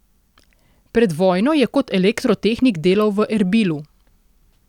Pred vojno je kot elektrotehnik delal v Erbilu.